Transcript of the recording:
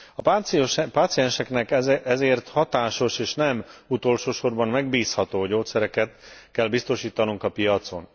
A pácienseknek ezért hatásos, és nem utolsósorban megbízható gyógyszereket kell biztosítanunk a piacon.